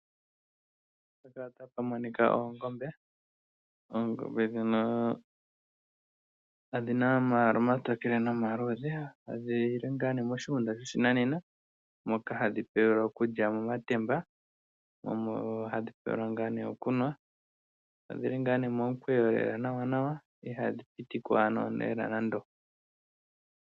Oongombe odhi na omayala omatokele nomaluudhe. Oongombe ndhino odhi li moshigunda shoshinanena moka hadhi pewelwa okulya momatemba, dho omo hadhi pewelwa okunwa. Odhi li momukweyo, dho ihadhi piti ko.